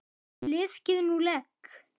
Liðkið nú legg!